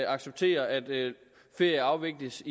accepterer at ferie afvikles